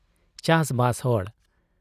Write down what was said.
ᱪᱟᱥᱵᱟᱥ ᱦᱚᱲ ᱾